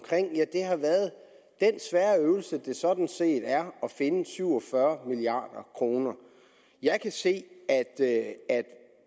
har været den svære øvelse det sådan set er at finde syv og fyrre milliard kroner jeg kan se at